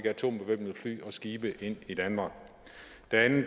atombevæbnede fly og skibe ind i danmark